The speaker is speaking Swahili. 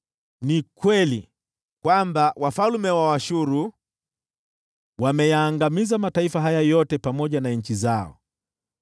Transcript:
“Ni kweli, Ee Bwana , kwamba wafalme wa Ashuru wameyaangamiza mataifa haya yote pamoja na nchi zao.